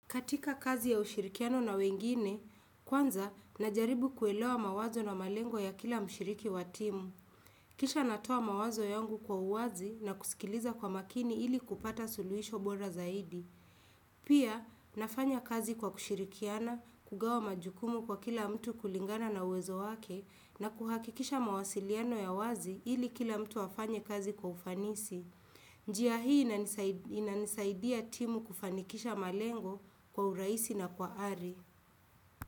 Katika kazi ya ushirikiano na wengine, kwanza, najaribu kuelewa mawazo na malengo ya kila mshiriki wa timu. Kisha natoa mawazo yangu kwa uwazi na kusikiliza kwa makini ili kupata suluhisho bora zaidi. Pia, nafanya kazi kwa kushirikiana, kugawa majukumu kwa kila mtu kulingana na uwezo wake, na kuhakikisha mawasiliano ya uwazi ili kila mtu afanye kazi kwa ufanisi. Njia hii inanisaidia timu kufanikisha malengo kwa urahisi na kwa ari.